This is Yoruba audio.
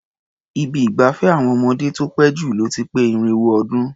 Ibi ìgbafẹ́ àwọn ọmọdé tó pé jù lọ ti pé irinwó ọdún.